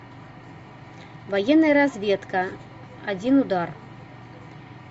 военная разведка один удар